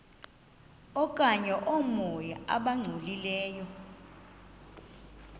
okanye oomoya abangcolileyo